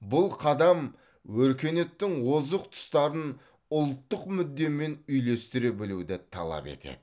бұл қадам өркениеттің озық тұстарын ұлттық мүддемен үйлестіре білуді талап етеді